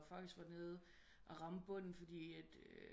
Der faktisk var nede og ramme bunden fordi at